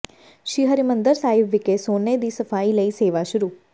ਸ੍ਰੀ ਹਰਿਮੰਦਰ ਸਾਹਿਬ ਵਿਖੇ ਸੋਨੇ ਦੀ ਸਫ਼ਾਈ ਲਈ ਸੇਵਾ ਸ਼ੁਰੂ